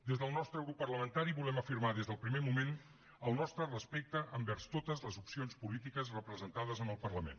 des del nostre grup parlamentari volem afirmar des del primer moment el nostre respecte envers totes les opcions polítiques representades en el parlament